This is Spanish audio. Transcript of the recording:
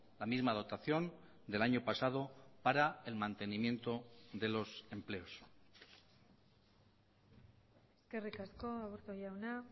la misma dotación del año pasado para el mantenimiento de los empleos eskerrik asko aburto jauna